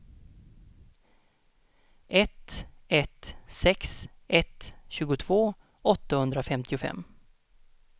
ett ett sex ett tjugotvå åttahundrafemtiofem